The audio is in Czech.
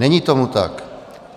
Není tomu tak.